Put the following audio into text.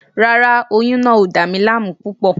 Rárá, oyún náà ò dà mí láàmú púpọ̀